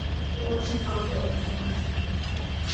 очень крутое приложение